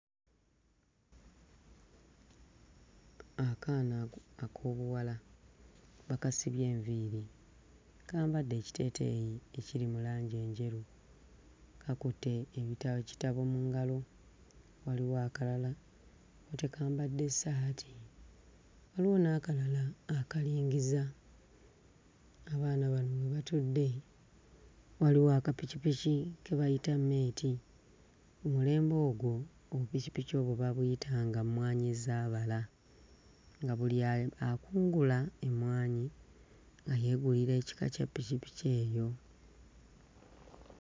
Akaana ako ak'obuwala bakasibye enviiri, kambadde ekiteeteeyi ekiri mu langi enjeru. Kakutte ebita... ekitabo mu ngalo, waliwo akalala kko tekambadde ssaati, waliwo n'akalala akalingiza. Abaana bano we batudde waliwo akapikipiki ke bayita mmeeti. Mu mulembe ogwo, obupikipiki obwo baabuyitanga mmwanyizaabala, nga buli akunguula emmwanyi nga yeegulira ekika kya ppikipiki eyo.